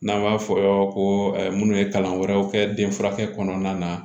N'an b'a fɔ yɔrɔ ko minnu ye kalan wɛrɛw kɛ den furakɛ kɔnɔna na